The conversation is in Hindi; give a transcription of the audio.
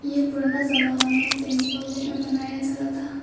यह पुराना जमाना में टेंपलो में बनाया जाता था।